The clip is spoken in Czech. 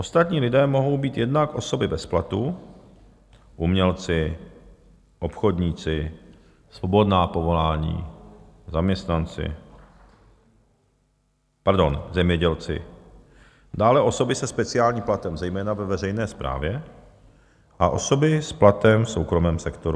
Ostatní lidé mohou být jednak osoby bez platu, umělci, obchodníci, svobodná povolání, zaměstnanci, pardon, zemědělci, dále osoby se speciálním platem, zejména ve veřejné správě, a osoby s platem v soukromém sektoru.